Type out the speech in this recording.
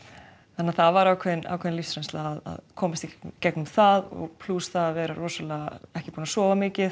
þannig að það var ákveðin ákveðin lífsreynsla að komast í gegnum það plús það að vera rosalega ekki búin að sofa mikið